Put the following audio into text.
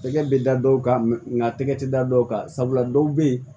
Tɛgɛ bɛ da dɔw kan nka tɛgɛ tɛ da dɔw kan sabula dɔw bɛ yen